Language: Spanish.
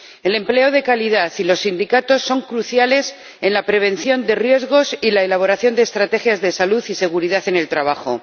El empleo de calidad y los sindicatos son cruciales en la prevención de riesgos y la elaboración de estrategias de salud y seguridad en el trabajo.